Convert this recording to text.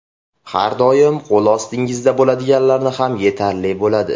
Har doim qo‘l ostingizda bo‘ladiganlari ham yetarli bo‘ladi.